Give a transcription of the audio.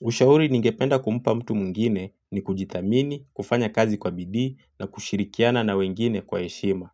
Ushauri ningependa kumpa mtu mwingine ni kujithamini kufanya kazi kwa bidii na kushirikiana na wengine kwa heshima.